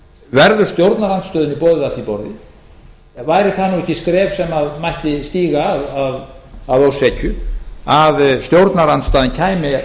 verður stjórnarandstöðunni boðið að því borði væri það nú ekki skref sem mætti stíga að ósekju að stjórnarandstaðan kæmi